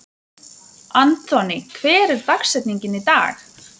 Anthony, hver er dagsetningin í dag?